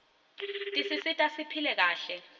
tisisita siphile kahle